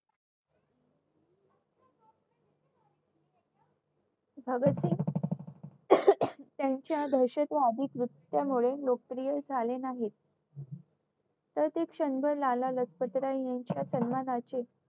भगतसिंग त्यांच्या दहशत असल्यामुळे लोकप्रिय झाले नाहीत तर क्षणभर लाला लजपतराय यांच्या सन्मानाचे